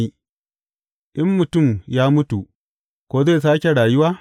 In mutum ya mutu, ko zai sāke rayuwa?